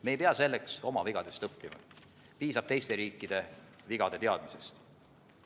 Me ei pea selleks oma vigadest õppima, piisab teiste riikide vigade teadmisest.